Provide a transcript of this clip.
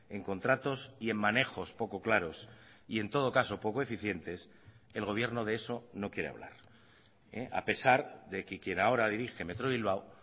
en contratos y en manejos poco claros y en todo caso poco eficientes el gobierno de eso no quiere hablar a pesar de que quien ahora dirige metro bilbao